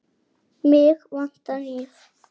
Álfur sagði að svo væri.